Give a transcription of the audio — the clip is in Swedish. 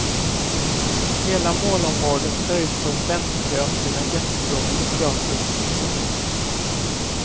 Hela målområdet ser ut som väntkön till en jättestor psykiatrisk klinik.